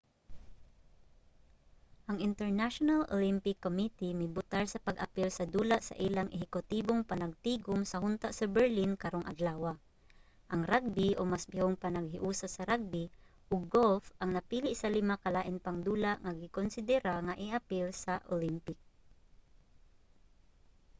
ang international olympic committee mibotar sa pag-apil sa dula sa ilang ehekutibong panagtigum sa hunta sa berlin karong adlawa. ang ragbi o mas pihong panaghiusa sa ragbi ug golf ang napili sa lima ka lain pang dula nga gikonsidera nga i-apil sa olympic